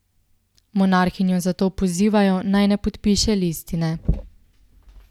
Monarhinjo zato pozivajo, naj ne podpiše listine.